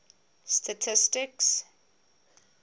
statistics